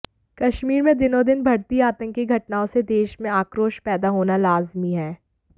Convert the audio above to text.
कश्मीर में दिनोंदिन बढ़ती आतंकी घटनाओं से देश में आक्रोश पैदा होना लाजिमी है